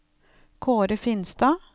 Kaare Finstad